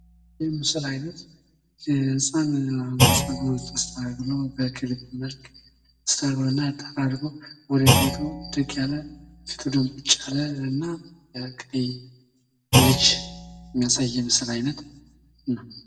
ይህ የምስል አይነት ህጻን ልጅ በክሊፕ መልኩ ጸጉሩን ተስተካክሎ ወደ ቤቱ የሚሄድና ፊቱ ድንቡጭ ያለ ልጅ የሚያሳይ የምስል አይነት ነውህ